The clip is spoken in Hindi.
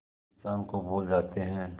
इंसान को भूल जाते हैं